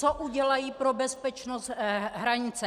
Co udělají pro bezpečnost hranice?